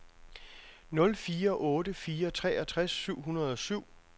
nul fire otte fire treogtres seks hundrede og syv